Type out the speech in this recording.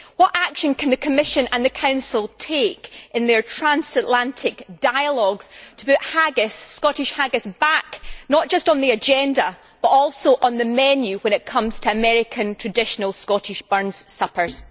What action can the Commission and the Council take in their transatlantic dialogues to put Scottish haggis back, not just on the agenda, but also on the menu when it comes to American traditional Scottish Burns suppers?